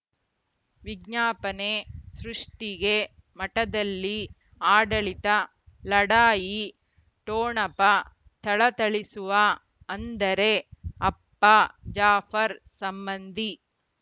ವಿಜ್ಞಾಪನೆ ಸೃಷ್ಟಿಗೆ ಮಠದಲ್ಲಿ ಆಡಳಿತ ಲಢಾಯಿ ಠೊಣಪ ಥಳಥಳಿಸುವ ಅಂದರೆ ಅಪ್ಪ ಜಾಫರ್ ಸಂಬಂಧಿ